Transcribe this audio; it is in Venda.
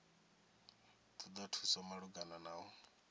ṱoḓa thuso malugana na u